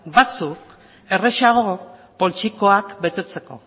batzuk errazago poltsikoak betetzeko